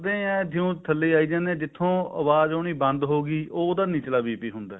ਏਵੇਂ ਹੈ ਜਿਓਂ ਥੱਲੇ ਆਈ ਜਾਣੇ ਹਾਂ ਜਿੱਥੋਂ ਆਵਾਜ ਆਉਣੀ ਬੰਦ ਹੋਗੀ ਉਹ ਉਹਦਾ ਨਿਚਲਾ BP ਹੁੰਦਾ